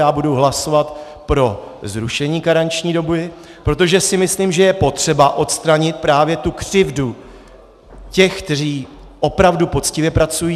Já budu hlasovat pro zrušení karenční doby, protože si myslím, že je potřeba odstranit právě tu křivdu těch, kteří opravdu poctivě pracují.